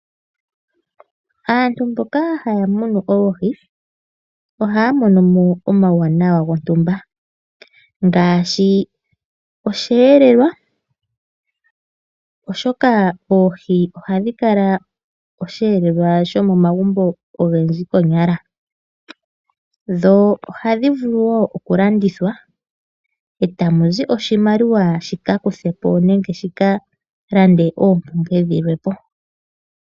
Aantu mboka haya munu oohi ohaya mono mo omauwanwa gontumba ngaashi osheelelwa, oshoka oohi ohadhi kala osheelelwa shomomagumbo ogendji konyala. Dho ohadhi vulu wo okulandithwa e tamu zi oshimaliwa shi ka kuthe po nenge shi ka lande oompumbwe dhilwe po.